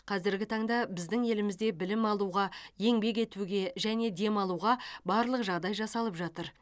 қазіргі таңда біздің елімізде білім алуға еңбек етуге және демалуға барлық жағдай жасалып жатыр